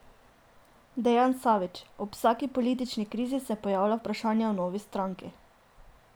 Dejan Savić: "Ob vsaki politični krizi se pojavlja vprašanje o novi stranki.